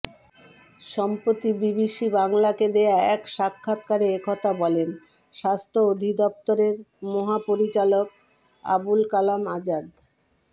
সম্প্রতি বিবিসি বাংলাকে দেয়া এক সাক্ষাৎকারে একথা বলেন স্বাস্থ্য অধিদপ্তরের মহাপরিচালক আবুল কালাম আজাদ